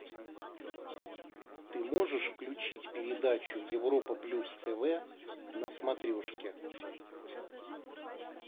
ты можешь включить передачу европа плюс тв на смотрешке